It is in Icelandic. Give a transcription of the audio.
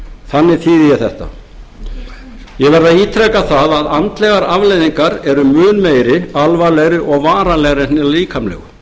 þannig þýði ég þetta ég verð að ítreka það að andlegar afleiðingar eru mun meiri alvarlegri og varanlegri en hin líkamlegu